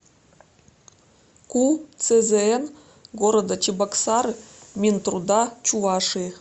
ку цзн города чебоксары минтруда чувашии